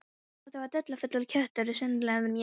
Þetta var dularfullur köttur, sérlundaður mjög.